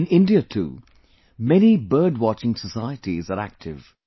In India too, many bird watching societies are active